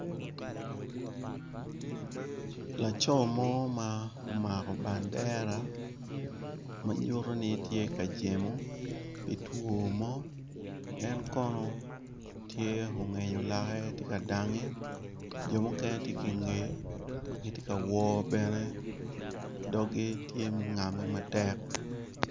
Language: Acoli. Laco mo ma omako bandera manyuto ni tye ka jemo pi two mo en kono tye ongenyo lake tye ka dange jo mukene tye ki nge magi tye ka wo bene doggi tye ma ongame matek.